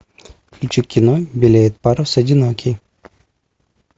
включи кино белеет парус одинокий